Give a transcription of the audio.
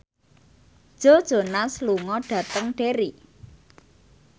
Joe Jonas lunga dhateng Derry